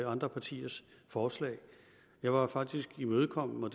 andre partiers forslag jeg var faktisk imødekommende og